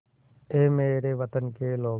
ऐ मेरे वतन के लोगों